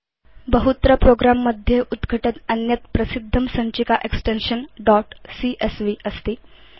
बहुत्र प्रोग्रं मध्ये उद्घटत् अन्यत् प्रसिद्धं सञ्चिका एक्सटेन्शन् दोत् सीएसवी अस्ति